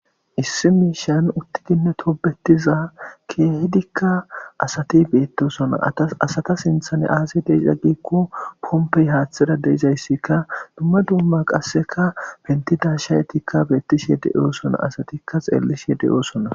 Issi mishan utidi tobetiza keehidika asati betosona ,asata sinthan aze de'izay giko Pompey hathera de'izaysika dumma dumma qaseka pentida shayetika betishe de'osona, asatika xelishe de'osona.